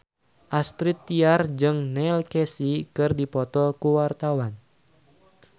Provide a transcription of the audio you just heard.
Astrid Tiar jeung Neil Casey keur dipoto ku wartawan